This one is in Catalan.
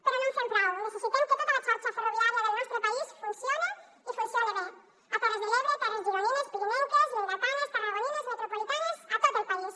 però no en fem prou necessitem que tota la xarxa ferroviària del nostre país funcione i funcione bé a terres de l’ebre terres gironines pirinenques lleidatanes tarragonines metropolitanes a tot el país